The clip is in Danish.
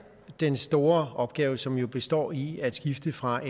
den store opgave som jo består i at skifte fra